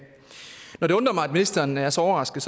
når det undrer mig at ministeren er så overrasket